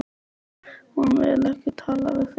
Hún vill ekki tala við þig!